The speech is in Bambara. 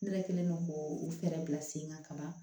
Ne yɛrɛ kɛlen don k'o u fɛɛrɛ bila sen kan ka ban